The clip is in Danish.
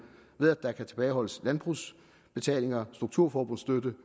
ved at der kan tilbageholdes landbrugsbetalinger strukturforbundsstøtte